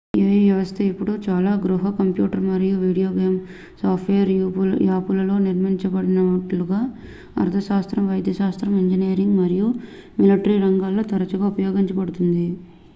ai వ్యవస్థ ఇప్పుడు చాలా గృహ కంప్యూటర్ మరియు వీడియో గేమ్ సాఫ్ట్వేర్ యాపులలో నిర్మించబడినట్లుగా అర్థశాస్త్రం వైద్యశాస్త్రం ఇంజనీరింగ్ మరియు మిలిటరీ రంగాలలో తరచుగా ఉపయోగించబడుతుంది